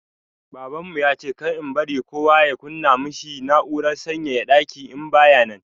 Babanmu ya ce kar in bari kowa ya kunna ma shi na'urar sanyaya daki in baya nan.